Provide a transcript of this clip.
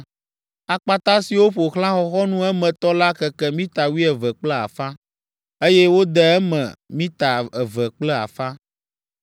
Akpata siwo ƒo xlã xɔxɔnu emetɔ la keke mita wuieve kple afã, eye wode eme mita eve kple afã.